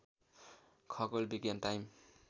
खगोल विज्ञान टाइम